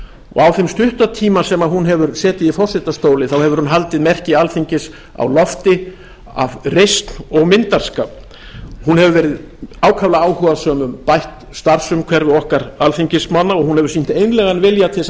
og á þeim stutta tíma sem hún hefur setið í forsetastóli hefur hún haldið merki alþingis á lofti af reisn og myndarskap hún hefur verið ákaflega áhugasöm um bætt starfsumhverfi okkar alþingismanna og hún hefur sýnt einlægan vilja til þess að